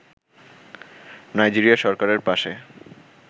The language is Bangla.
নাইজেরিয়া সরকারের পাশে